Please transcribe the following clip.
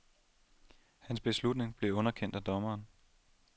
Hans beslutning blev underkendt af dommeren.